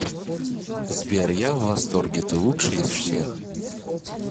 сбер я в восторге ты лучший из всех